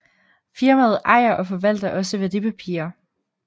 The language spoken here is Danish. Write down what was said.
Firmaet ejer og forvalter også værdipapirer